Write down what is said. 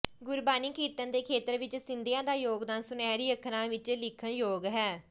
ਗੁਰਬਾਣੀ ਕੀਰਤਨ ਦੇ ਖੇਤਰ ਵਿੱਚ ਸਿੰਧੀਆਂ ਦਾ ਯੋਗਦਾਨ ਸੁਨਹਿਰੀ ਅੱਖਰਾਂ ਵਿੱਚ ਲਿਖਣ ਯੋਗ ਹੈ